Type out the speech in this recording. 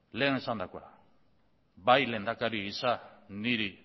lehen esandakora bai lehendakari gisa niri